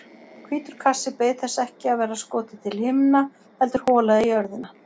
Hvítur kassi beið þess ekki að verða skotið til himna heldur holað í jörðina.